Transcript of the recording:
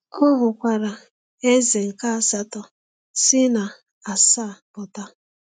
Ọ hụkwara “eze nke asatọ” “si na asaa pụta.”